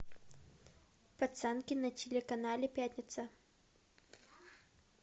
пацанки на телеканале пятница